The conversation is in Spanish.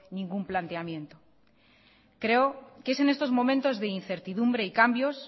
ningún planteamiento creo que es en estos momentos de incertidumbre y cambios